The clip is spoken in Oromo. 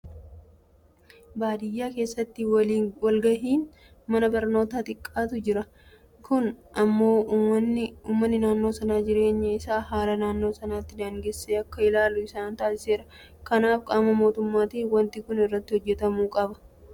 Baadiyyaa keessatti waliin gahinsi mana barnootaa xiqqaatu jira. Kun immoo uummanni naannoo sanaa jireenya isaa haala naannoo isaatiin daangessee akka ilaalu isaan taasiseera. Kanaaf gama mootummaatiin waanti kun irratti hojjetamuu qaba. Barattoota daandii dheeraa deemanii baratan bayyanachiisuun gahee hundumaa ta'uu qaba.